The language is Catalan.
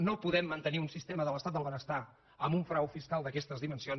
no podem mantenir un sistema de l’estat del benestar amb un frau fiscal d’aquestes dimensions